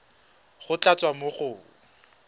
go tla tswa mo go